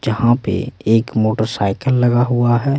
जहां पे एक मोटरसाइकिल लगा हुआ है।